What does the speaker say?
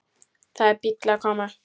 Það er bíll að koma.